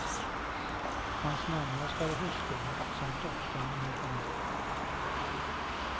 Hans närmaste är hustrun samt dottern med familj.